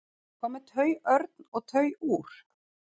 hvað með tauörn og tauúr